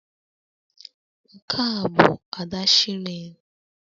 Nke a bụ Ada shillings